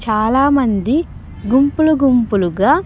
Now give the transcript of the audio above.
చాలామంది గుంపులు గుంపులుగా.